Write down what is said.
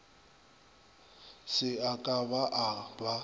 se a ka a ba